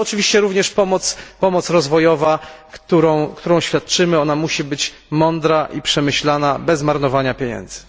No ale oczywiście również pomoc rozwojowa, którą świadczymy, musi być mądra i przemyślana, bez marnowania pieniędzy.